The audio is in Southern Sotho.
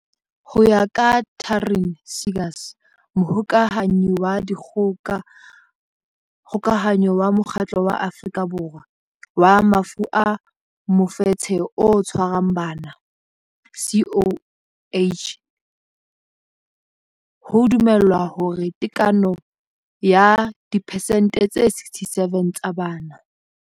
Ho ya ka Taryn Seegers, Mohokahanyi wa Dikgoka hanyo wa Mokgatlo wa Afrika Borwa wa Mafu a Mofetshe o Tshwarang Bana, CHOC, ho dumelwa hore tekano ya diphesente tse 67 tsa bana